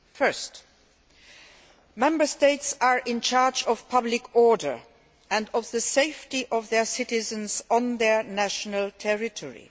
Firstly, Member States are in charge of public order and of the safety of their citizens on their national territory.